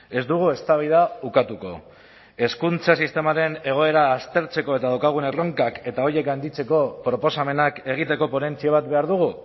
ez dugu eztabaida ukatuko hezkuntza sistemaren egoera aztertzeko eta dauzkagun erronkak eta horiek handitzeko proposamenak egiteko ponentzia bat behar dugu